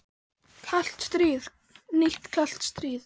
Gunnar Reynir: Kalt stríð, nýtt kalt stríð?